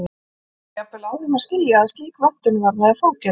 Var jafnvel á þeim að skilja að slík vöntun varðaði fangelsi.